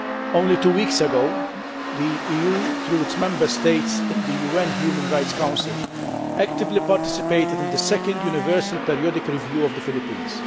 Only two weeks ago, the EU, through its Member States in the UN Human Rights Council, actively participated in the Second Universal Periodic Review of the Philippines.